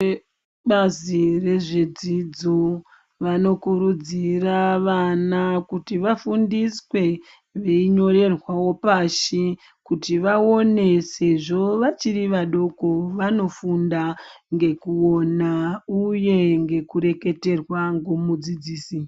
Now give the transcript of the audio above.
Vebazi rezvedzidzo vanokurudzira vana kuti vafundiswe, veinyorerwawo pashi kuti vaone sezvo vachiri vadoko vanofunda ngekuona uye ngekureketerwa ngomudzidzisi.